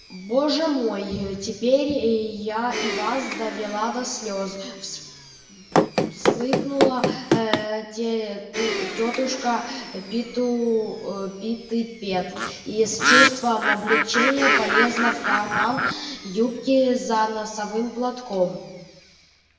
боже мой теперь я и вас довела до слез всхлипнула тётушка питтипэт и с чувством облегчения полезла в карман юбки за носовым платком